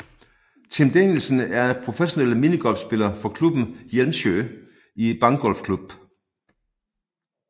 Tim Danielsen er professionel minigolfspiller for klubben Hjelmsjö Bangolfklubb